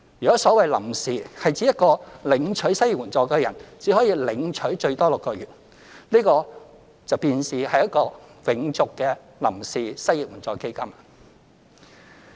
若所謂"臨時"是指每一個領取失業援助的人只可領取最多6個月，這便是一個"永續"的臨時失業援助基金。